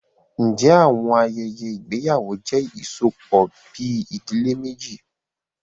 Ǹjẹ́ àwọn- ayẹyẹ ìgbéyàwó jẹ́ ìsopọ̀bi ìdílé méjì?